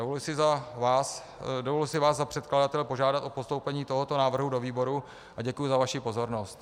Dovoluji si vás za předkladatele požádat o postoupení tohoto návrhu do výboru, a děkuji za vaši pozornost.